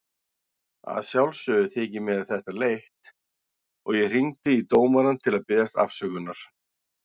Að sjálfsögðu þykir mér þetta leitt og ég hringdi í dómarann til að biðjast afsökunar.